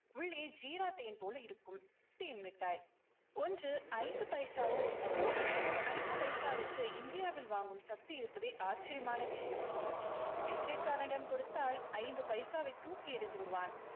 உள்ளே ஜீரா தேன் போல இருக்கும். தேன் மிட்டாய் ஒன்று ஐந்து பைசாவோ என்னவோ. ஐந்து பைசாவிற்கு இந்தியாவில் வாங்கும் சக்தி இருப்பதே ஆச்சரியமான விஷயம். பிச்சைக்காரனிடம் கொடுத்தால் ஐந்து பைசாவை தூக்கி எறிந்து விடுவான்.